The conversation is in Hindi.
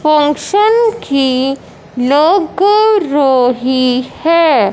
फंक्शन की लग रही है।